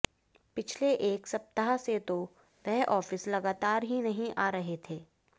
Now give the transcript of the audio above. पिछले एक सप्ताह से तो वह ऑफिस लगातार ही नहीं आ रहे थे